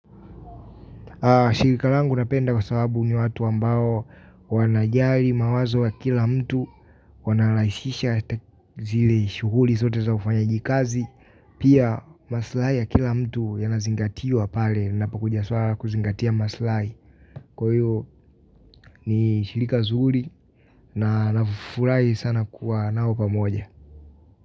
Shilika langu napenda kwa sababu ni watu ambao wanajari mawazo ya kila mtu wanalaisisha zile shuguli zote za ufanya jikazi. Pia maslahi ya kila mtu yanazingatiwa pale lina pokuja swala la kuzingatia maslahi. Kwa hiyo ni shilika zuri na nafurahi sana kuwa nao pa moja.